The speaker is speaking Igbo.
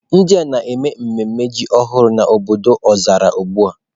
Ndị a na-eme mmemme ji ọhụrụ n'obodo Ozalla ugbu a.